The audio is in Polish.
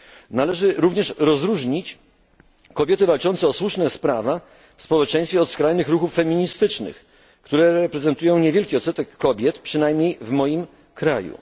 Należy również rozróżnić kobiety walczące o słuszną sprawę w społeczeństwie od skrajnych ruchów feministycznych, które reprezentują niewielki odsetek kobiet, przynajmniej w moim kraju.